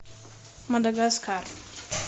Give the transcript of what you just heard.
мадагаскар